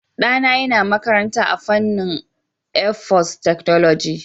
Ɗana yana makaranta a fannin airforcetechnology.